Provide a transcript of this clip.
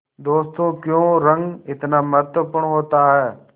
दोस्तों क्यों रंग इतना महत्वपूर्ण होता है